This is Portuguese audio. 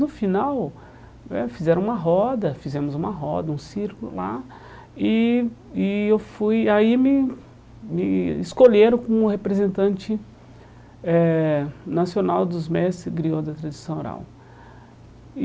No final né, fizeram uma roda, fizemos uma roda, um circo lá, e e eu fui e aí me me escolheram como representante eh nacional dos mestres griôs da tradição oral. E